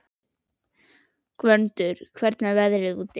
Gvöndur, hvernig er veðrið úti?